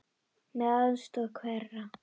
Með aðstoð hverra?